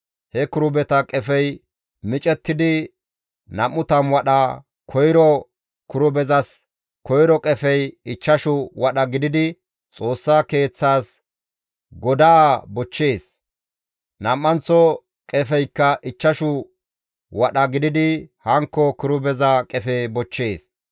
He kirubeta qefey micettidi 20 wadha, koyro kirubezas koyro qefey ichchashu wadha gididi Xoossa Keeththaas godaa bochchees; nam7anththo qefezikka ichchashu wadha gididi hankko kirubeza qefe bochchees.